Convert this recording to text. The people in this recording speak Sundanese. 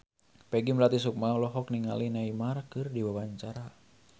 Peggy Melati Sukma olohok ningali Neymar keur diwawancara